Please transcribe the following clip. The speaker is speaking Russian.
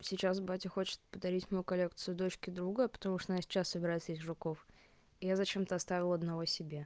сейчас батя хочет подарить мою коллекцию дочке друга потому что она сейчас собирает всех жуков я зачем-то оставила одного себе